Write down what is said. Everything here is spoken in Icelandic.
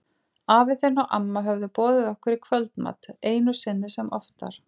Afi þinn og amma höfðu boðið okkur í kvöldmat, einu sinni sem oftar.